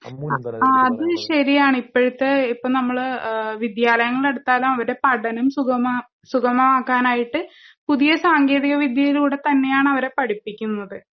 അ അതുശരിയാണിപ്പഴത്തെ ഇപ്പം നമ്മള് ഏഹ് വിദ്യാലയങ്ങളെടുത്താലും അവരുടെ പഠനം സുഗമാ സുഗമാക്കാനായിട്ട് പുതിയ സാങ്കേതികവിദ്യയിലൂടെത്തന്നെയാണ് അവരെ പഠിപ്പിക്കുന്നത്.